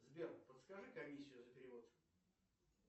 сбер подскажи комиссию за перевод